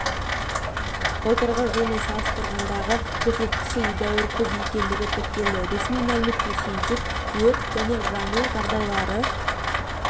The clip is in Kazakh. былтырғы жылмен салыстырғандағы көрсеткіші едәуір көп екендігі тіркелді ресми мәліметке сүйенсек өрт және жану жағдайлары